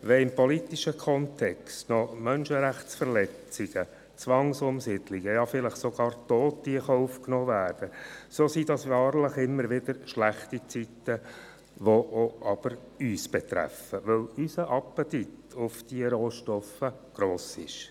Wenn im politischen Kontext noch Menschenrechtsverletzungen, Zwangsumsiedlungen und vielleicht sogar Tote in Kauf genommen werden, sind das wahrlich immer wieder schlechte Zeiten, die jedoch uns betreffen, weil unser Appetit auf diese Rohstoffe gross ist.